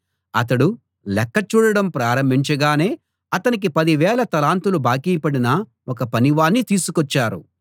అతడు లెక్క చూడడం ప్రారంభించగానే అతనికి పదివేల తలాంతులు బాకీపడిన ఒక పనివాణ్ణి తీసుకొచ్చారు